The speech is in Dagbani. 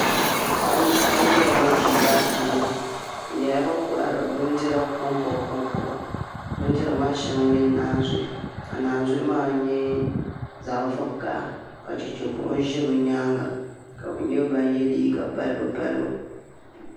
Paɣaba nyɛla bin ʒi daa puuni bi nyɛla bin kohari bindira konkoba konkoba bindira maa shɛŋa n nyɛ naazuhi ka naanzuhi maa nyɛ zaɣ vakaɣa ka chɛchɛ buɣum ʒɛ bi nyaanga ka bi nyɛ ban yɛ liiga balibu balibu